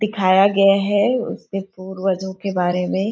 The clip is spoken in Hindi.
दिखाया गया है उसके पूर्वजो के बारे में --